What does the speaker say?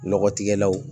Nɔgɔ tigɛlaw